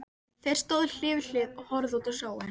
Þeir stóðu hlið við hlið og horfðu út á sjóinn.